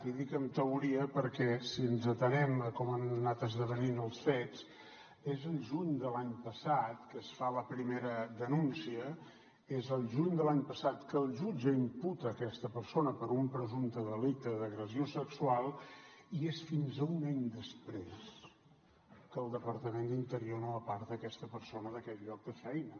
i dic en teoria perquè si ens atenem a com han anat esdevenint els fets és el juny de l’any passat que es fa la primera denúncia és el juny de l’any passat que el jutge imputa aquesta persona per un presumpte delicte d’agressió sexual i és fins un any després que el departament d’interior no aparta aquesta persona d’aquest lloc de feina